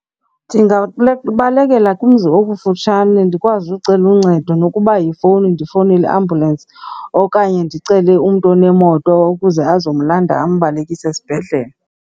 Ndingabalekela kumzi okufutshane ndikwazi ucela uncedo nokuba yifowuni ndifowunele iambulensi okanye ndicele umntu onemoto ukuze azomlandela ambalekise esibhedlele.